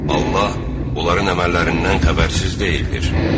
Allah onların əməllərindən xəbərsiz deyildir.